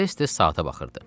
Tez-tez saata baxırdı.